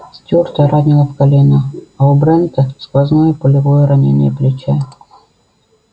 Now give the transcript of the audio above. стюарта ранило в колено а у брента сквозное пулевое ранение плеча